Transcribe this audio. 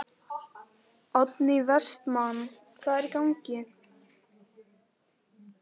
Oddný Vestmann: Hvað er í gangi?